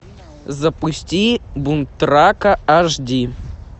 запусти бунт рака аш ди